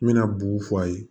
N bɛna bugu fɔ a ye